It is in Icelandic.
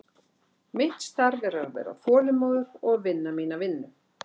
Mitt starf er að vera þolinmóður og vinna mína vinnu.